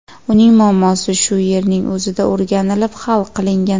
Uning muammosi shu yerning o‘zida o‘rganilib, hal qilingan.